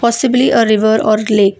simply a river or a lake.